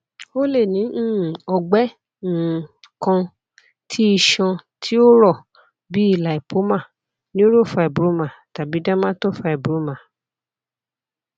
o le ni um ọgbẹ um kan ti iṣan ti o rọ bii lipoma neurofibroma tabi dermatofibroma